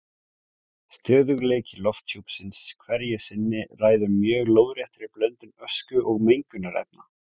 Stöðugleiki lofthjúpsins hverju sinni ræður mjög lóðréttri blöndun ösku og mengunarefna.